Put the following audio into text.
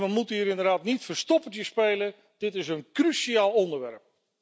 We moeten hier inderdaad niet verstoppertje spelen dit is een cruciaal onderwerp.